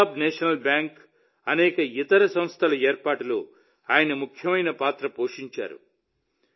Punjab national bank అనేక ఇతర సంస్థల ఏర్పాటులో ఆయన ముఖ్యమైన పాత్ర పోషించారు